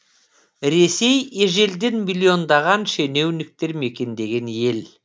ресей ежелден миллиондаған шенеуніктер мекендеген ел